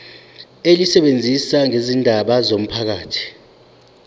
elisebenza ngezindaba zomphakathi